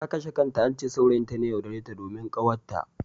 Ta kashe kanta, ance saurayin ta ne ya yaudare ta domin ƙawatta.